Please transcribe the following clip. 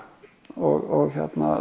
og